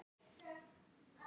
Ég tel hann hafa átt góða ævi.